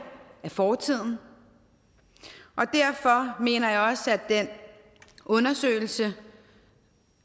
af fortiden og derfor mener jeg også at den undersøgelse